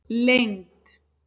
lengd